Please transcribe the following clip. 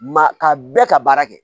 Maa ka bɛɛ ka baara kɛ